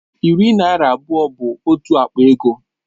Iri naira abụọ bụ otu akpa ego